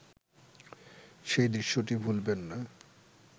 সেই দৃশ্যটি ভুলবেন না